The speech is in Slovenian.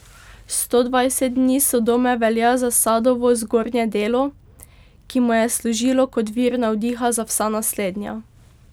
Sto dvajset dni Sodome velja za Sadovo zgodnje delo, ki mu je služilo kot vir navdiha za vsa naslednja.